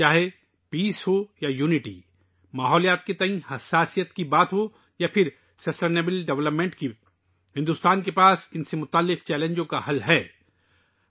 چاہے امن ہو یا اتحاد، ماحولیات کے تئیں حساسیت، یا پائیدار ترقی، بھارت کے پاس ان سے متعلق چیلنجوں کا حل موجود ہے